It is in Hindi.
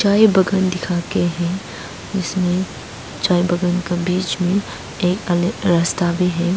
चाय बगान दिखा के है इसमें चाय बगान का बीच में एक अलेग रस्ता भी है।